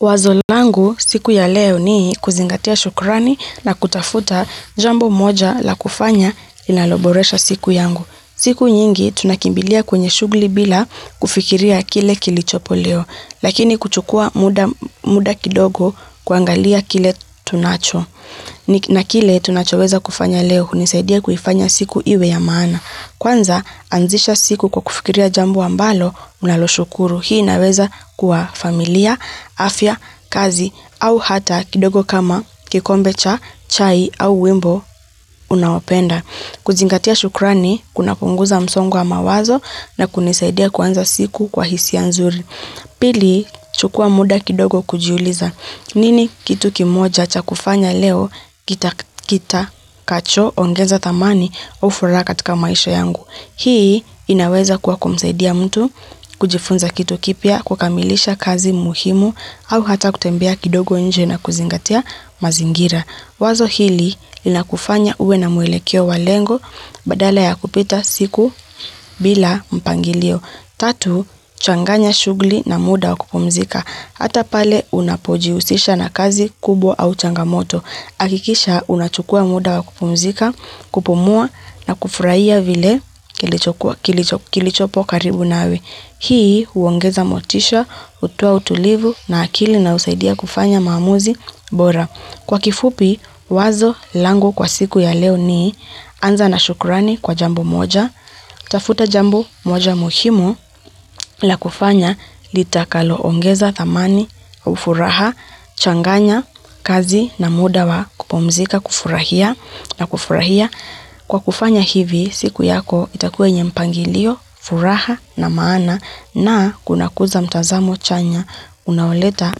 Wazo langu siku ya leo ni kuzingatia shukrani na kutafuta jambo moja la kufanya inaloboresha siku yangu. Siku nyingi tunakimbilia kwenye shugli bila kufikiria kile kilichopo leo, lakini kuchukua muda kidogo kwangalia kile tunacho. Na kile tunachoweza kufanya leo unisaidia kufanya siku iwe ya maana. Kwanza anzisha siku kwa kufikiria jambu ambalo unalo shukuru. Hii naweza kuwa familia, afya, kazi au hata kidogo kama kikombe cha, chai au wimbo unawapenda. Kuzingatia shukrani, kuna kunguza msongwa mawazo na kunisaidia kwanza siku kwa hisi ya nzuri. Pili, chukua muda kidogo kujuliza. Nini kitu kimoja hacha kufanya leo kita kacho ongenza tamani ofura katika maisho yangu. Hii inaweza kuwa kumsaidia mtu, kujifunza kitu kipia, kukamilisha kazi muhimu au hata kutembea kidogo nje na kuzingatia mazingira. Wazo hili lina kufanya uwe na mwele kio walengo badala ya kupita siku bila mpangilio. Tatu, changanya shughuli na muda wa kupumzika. Hata pale unapoji usisha na kazi kubo au changamoto. Akikisha unachukua muda wa kupumzika, kupumua na kufurahia vile kilichopo karibu nawe. Hii uongeza motisha, utua utulivu na akili na usaidia kufanya maamuzi bora. Kwa kifupi, wazo lango kwa siku ya leo ni anza na shukurani kwa jambu moja, tafuta jambu moja muhimu la kufanya litakalo ongeza thamani, ufuraha, changanya, kazi na muda wa kupomzika kufurahia na kufurahia. Kwa kufanya hivi, siku yako itakue nye mpangilio, furaha na maana na kuna kuza mtazamo chanya unaoleta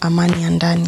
amani andani.